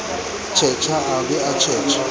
tjhetjha a ba a tjhetjha